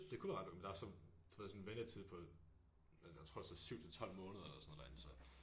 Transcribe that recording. Det kunne være ret men der er så du ved sådan ventetid på jeg tror der står 7 til 12 måneder eller sådan noget derinde så